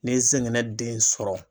Ne ye n zɛngɛnɛ den sɔrɔ.